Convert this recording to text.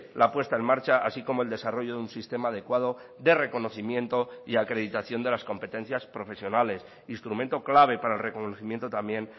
la puesta en marcha así como el desarrollo de un sistema adecuado de reconocimiento y acreditación de las competencias profesionales instrumento clave para el reconocimiento también